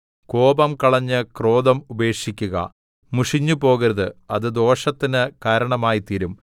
കോപം കളഞ്ഞ് ക്രോധം ഉപേക്ഷിക്കുക മുഷിഞ്ഞുപോകരുത് അത് ദോഷത്തിന് കാരണമായിത്തീരും